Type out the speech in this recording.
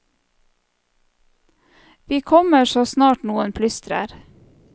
Vi kommer så snart noen plystrer.